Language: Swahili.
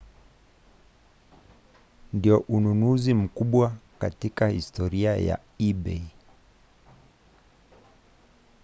ndio ununuzi mkubwa katika historia ya ebay